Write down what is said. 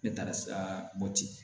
Ne taara mopti